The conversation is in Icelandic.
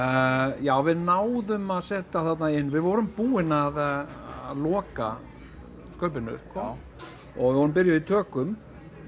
já við náðum að setja þarna inn við vorum búin að loka skaupinu sko og við vorum byrjuð í tökum